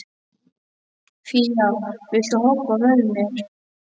Fía, viltu hoppa með mér?